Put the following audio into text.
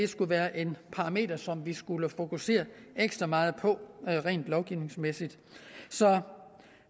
skulle være et parameter som vi skulle fokusere ekstra meget på rent lovgivningsmæssigt så